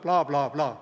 " Blaa-blaa-blaa.